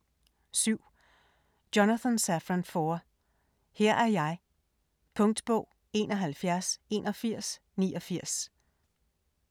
7. Foer, Jonathan Safran: Her er jeg Punktbog 418189